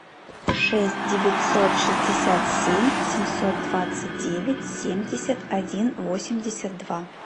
шесть девятьсот шестьдесят семь семьсот двадцать девять семьдесят один восемьдесят два